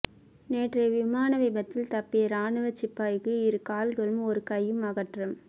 நேற்றைய விமான விபத்தில் தப்பிய இராணுவச் சிப்பாய்க்கு இரு கால்களும் ஒரு கையும் அகற்றம்